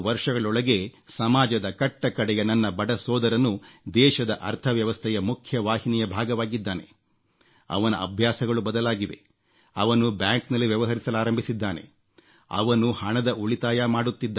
3 ವರ್ಷಗಳೊಳಗೆ ಸಮಾಜದ ಕಟ್ಟ ಕಡೆಯ ನನ್ನ ಬಡ ಸೋದರನೂ ದೇಶದ ಅರ್ಥವ್ಯವಸ್ಥೆಯ ಮುಖ್ಯವಾಹಿನಿಯ ಭಾಗವಾಗಿದ್ದಾನೆ ಅವನ ಅಭ್ಯಾಸಗಳು ಬದಲಾಗಿವೆ ಅವನು ಬ್ಯಾಂಕ್ನಲ್ಲಿ ವ್ಯವಹರಿಸಲಾರಂಭಿಸಿದ್ದಾನೆ ಅವನು ಹಣದ ಉಳಿತಾಯ